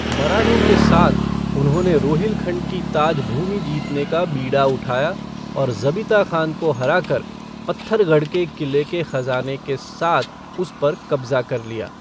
मराठों के साथ, उन्होंने रोहिलखंड की ताज भूमि जीतने का बीड़ा उठाया और ज़बीता खान को हराकर, पत्थरगढ़ के किले के ख़ज़ाने के साथ उस पर कब्ज़ा कर लिया।